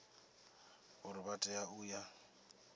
uri vha tea u ya